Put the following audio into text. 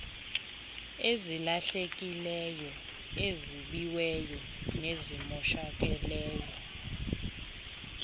ezilahlekileyo ezibiweyo nezimoshakeleyo